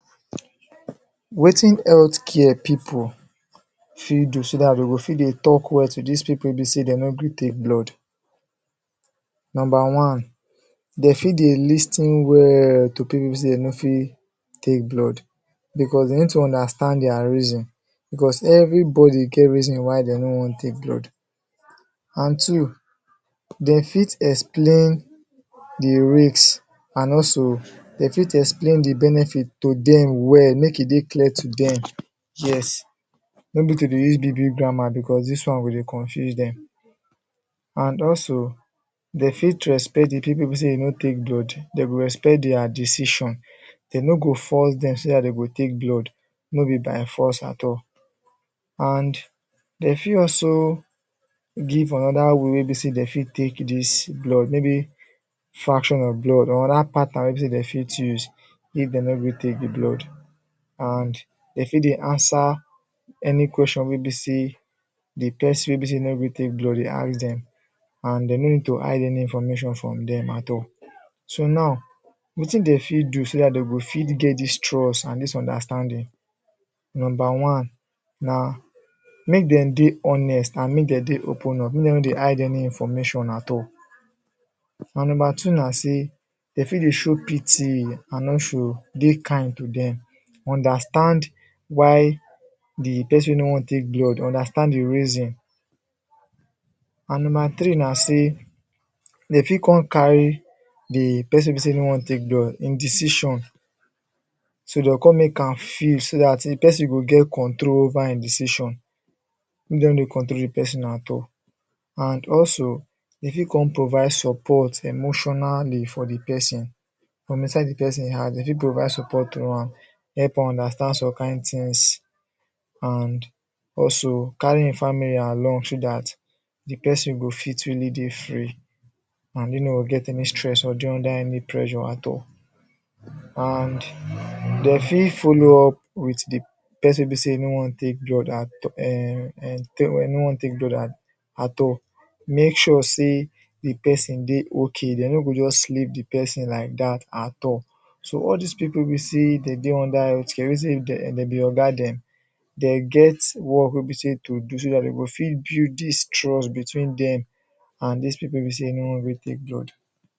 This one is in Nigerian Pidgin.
Wetin healthcare people fit do so that they go fit dey talk well to this people wey be sey dey no gree take blood number one they fit dey lis ten well to people wey be sey they no fit take blood because they need to understand their reason because everybody get reason why dey no wan take blood and two they fit explain the risk and also they fit explain the benefit to them well make e dey clear to them yes no be to dey use big big grammar because this one go dey confuse them and also they fit respect d people wey be sey they no take blood they go respect their decision they no go force them so that they go take blood no be by force at all and they fit also give another way wey be sey they fit take this blood maybe fraction of blood another pattern wey be sey they fit use if they no gree take the blood and they fit dey answer any question wey be sey the person wey be sey no gree take blood dey ask them and they no need to hide any information from them at all so now wetin dey fit do so that they go fit get this trust and dis understanding number one na make them dey honest and make them dey open up make them no dey hide any information at all and number two na sey they fit dey show pity and also dey kind to them understand why the person wey no wan take blood understand the reason and number three na sey they fit come carry the person wey be sey no wan take blood him decision so they go come make am feel so that if person get control over hin decision they no dey control the person at all and also they fit come provide support emotionally for the person from inside the person heart dey fit provide support through am help am understand some kind tings and also carry hin family along so that the person go fit really dey free and him no get any stress or dey under any pressure at all and they fit follow up with the person wey be sey no wan take blood at um take wey no wan take blood at at all make sure sey the person dey okay they no go just leave the person like that at all so all these people wey be sey dem dey under health care wey be say dem be oga dem dey get work wey be sey to do so that dey go fit build this trust between them and these people wey be sey no wan gree take blood